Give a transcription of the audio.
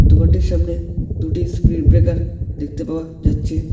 দোকানটির সামনে দুটি স্প্রিড ব্রেকার দেখতে পাওয়া যাচ্ছে।